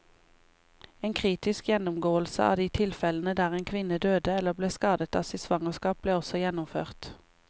En kritisk gjennomgåelse av de tilfellene der en kvinne døde eller ble skadet av sitt svangerskap, ble også gjennomført.